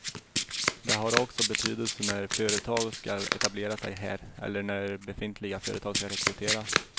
Det har också betydelse när företag skall etablera sig här eller när befintliga företag ska rekrytera.